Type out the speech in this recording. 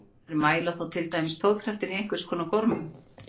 Þær mæla þá til dæmis togkraftinn í einhvers konar gormum.